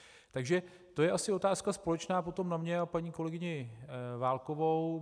Takže to je asi otázka společná potom na mě a paní kolegyni Válkovou.